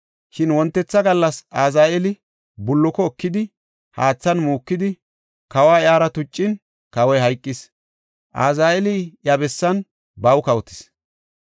Shin wontetha gallas Azaheeli bulluko ekidi, haathan muukidi, kawa iyara tuccin, kawoy hayqis. Azaheeli iya bessan baw kawotis.